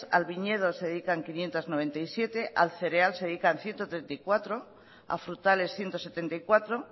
al viñedo se dedican quinientos noventa y siete al cereal se dedican ciento treinta y cuatro a frutales ciento setenta y cuatro